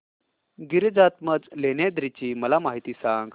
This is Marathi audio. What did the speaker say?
गिरिजात्मज लेण्याद्री ची मला माहिती सांग